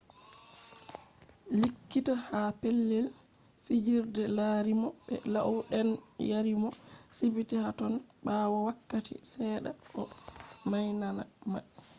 likkita ha pelell fijirde larimo be lau den yariimo sibiti haton baawoo wakkati sedda o mainama